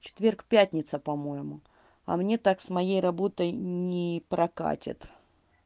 четверг пятница по-моему а мне так с моей работой не прокатит